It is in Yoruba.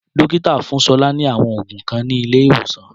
Dókítà fún Sola ni àwọn òògùn kan ni ilé ìwòsàn